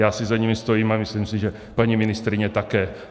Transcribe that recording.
Já si za nimi stojím a myslím si, že paní ministryně také.